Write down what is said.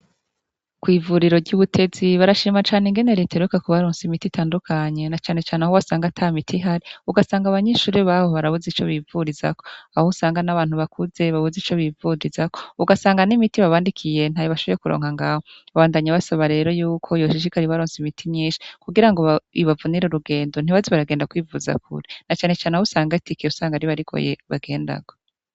Kwivuriro ryubutetsi barashimira ingene reta iheruka ku bararonse imiti itandukanye na cane cane aho wasanga aho atamiti ihari ugasanga abanyeshure baho barabuze ico bivururirako aho usanga nabantu bakuze babuze ico bivurizako ugasanga nimiti babandikiye ntayo bashoboye kuronka ngaho babandanya basaba yuko yoshishikara ibaronkesha imiti nyinshi kugirango ibavunire urugendo ntibaze baragenda kure nacane cane aho usanga itike bagendako ibagoye